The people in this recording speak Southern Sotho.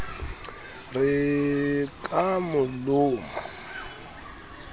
re e ka mo loma